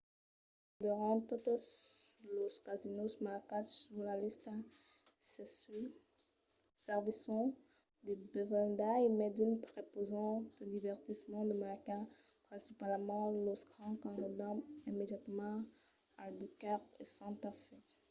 pasmens gaireben totes los casinòs marcats sus la lista çai-sus servisson de bevendas e mai d'unes prepausan de divertiments de marcas principalament los grands qu'enròdan immediatament albuquerque e santa fe